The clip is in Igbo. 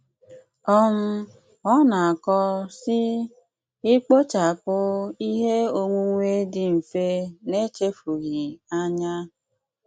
um Ọ̀ na-akọ̀, sị: ‘Ị́kpochàpụ ihe onwunwe dị̀ mfe n’echefughị anya